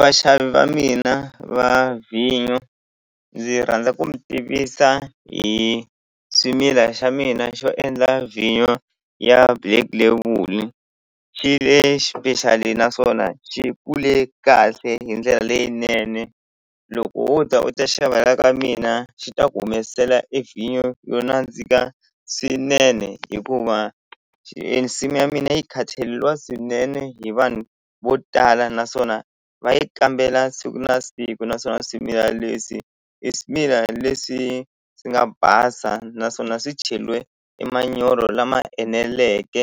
Vaxavi va mina va vhinyo ndzi rhandza ku mi tivisa hi swimila xa mina xo endla vhinyo ya black label xi le xipexali naswona xi kule kahle hi ndlela leyinene loko wo ta u ta xava la ka mina xi ta ku humesela e vhinyo yo nandzika swinene hikuva e nsimu ya mina yi swinene hi vanhu vo tala naswona va yi kambela siku na siku naswona swimilani leswi i swimilani leswi swi nga basa naswona swi cheliwe emanyoro lama eneleke